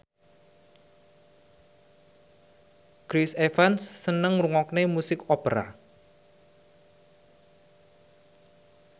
Chris Evans seneng ngrungokne musik opera